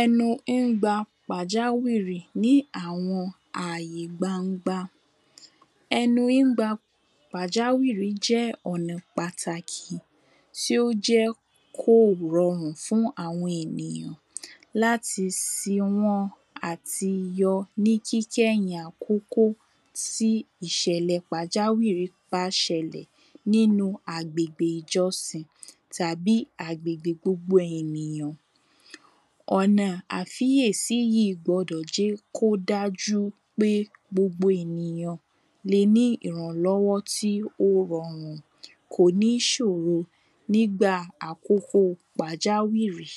ẹnu ń gba pàjáwìrì ní àwọn àyè gbangba ẹnu ńgba pàjáwìrì jẹ́ ọ̀nà pàtàkì tí ó jẹ́ kò rọrùn fún àwọn ènìyàn láti sí wọ́n àti yọ ní kíkẹ́yìn àkókò tí ìṣẹ̀lẹ̀ pàjáwìrì bá ṣẹlẹ̀ nínú àgbègbè ìjọsìn tàbí agbègbè gbogbo ènìyàn ọ̀nà àfíyèsí yíì gbọdọ̀ jẹ́ kó dájú pé gbogbo ènìyàn le ní ìrànlọ́wọ́ tí ó rọrùn kò ní ṣòro nígbà àkókò pàjáwìrì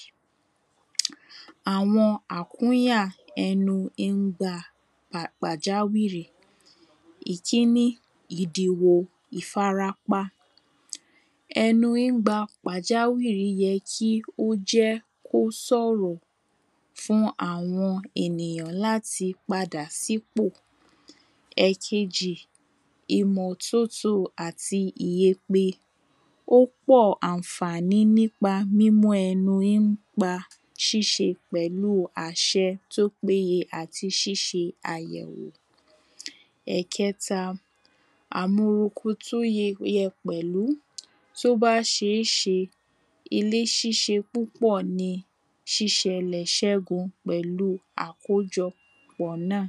àwọn àkúnyà ẹnu ń gba pàjáwìrì ìkíní, ìdèwò ìfarapa ẹnu ńgba pàjáwìrì yẹ kí ó jẹ́ kó sọ̀rọ̀ fún àwọn ènìyàn láti padà sípò ẹ̀kejì, ìmọ́tótó àti ìyepe, ó pọ̀ àǹfàní nípa mímọ́ ẹnu ń pa ṣíṣe pẹ̀lú àṣẹ tó péye àti ṣíṣe àyẹ̀wò ẹ̀kẹta, àmowokó tó ye yẹ pẹ̀lú, tó bá ṣeéṣe ilé ṣíṣe púpọ̀ ní ṣíṣẹlẹ̀ ṣégun pẹ̀lú àkójọ pọ̀ náà.